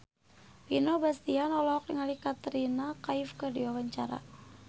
Vino Bastian olohok ningali Katrina Kaif keur diwawancara